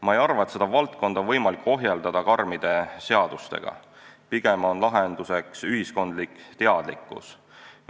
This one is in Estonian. Ma ei arva, et seda valdkonda on võimalik ohjeldada karmide seadustega, pigem on lahenduseks ühiskonna teadlikkus.